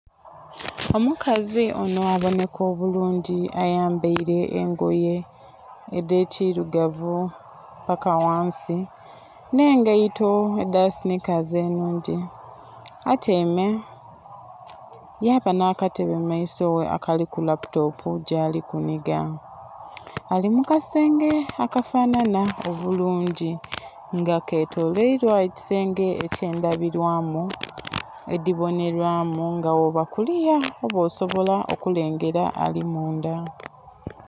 Omukazi onho abonheka obulungi ayambaile engoye edh'ekilugavu paka ghansi nh'engaito edha sinikazi ennhungi. Atyaime yaba nh'akatebe mu maiso ghe akaliku laputopu ghali kunhiga. Ali mu kasenge akafanhanha obulungi nga ketoloilwa ekisenge eky'endhabilwamu edhibonelwamu nga bwooba kuliya oba osobola okulengera ali mundha.